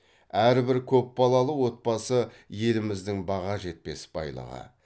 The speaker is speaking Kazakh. әрбір көпбалалы отбасы еліміздің баға жетпес байлығы